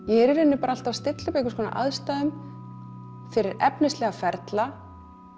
er í rauninni alltaf að stilla upp aðstæðum fyrir efnislega ferla